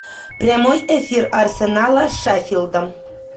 прямой эфир арсенала с шеффилдом